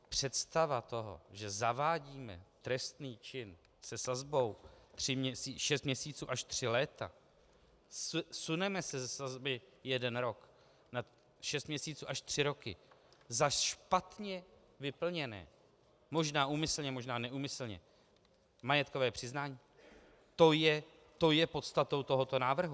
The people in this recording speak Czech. Představa toho, že zavádíme trestný čin se sazbou šest měsíců až tři roky, suneme se ze sazby jeden rok na šest měsíců až tři roky za špatně vyplněné, možná úmyslně, možná neúmyslně, majetkové přiznání, to je podstatou tohoto návrhu.